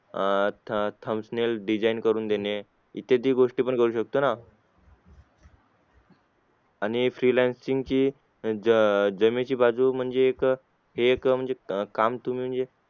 अं ThumbsThumbnail design करून देणे इत्यादी गोष्टी पण करू शकतो ना आणि freelancing ज जमेची बाजू म्हणजे एक हे एक एक काम तुम्ही म्हणजे